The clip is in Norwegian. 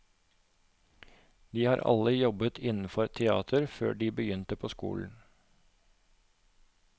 De har alle jobbet innenfor teater før de begynte på skolen.